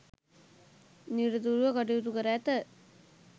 නිරතුරුව කටයුතු කර ඇත.